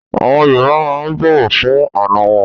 Àwọn Yorùbá máa ń bọ̀wọ̀ fún àná wọn.